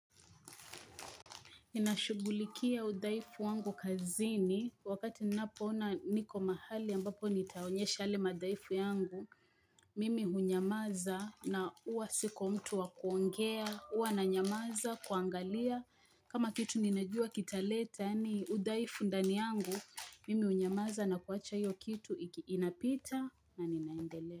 Nina shugulikia udhaifu wangu kazini wakati ninapoona niko mahali ambapo nitaonyesha yale madhaifu yangu Mimi hunyamaza na uwa siko mtu wakuongea, huwa na nyamaza, kuangalia kama kitu ninajua kitaleta yaani udhaifu ndani yangu Mimi hunyamaza na kuacha hiyo kitu inapita na ninaendelea.